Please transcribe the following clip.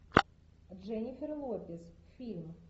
дженнифер лопес фильм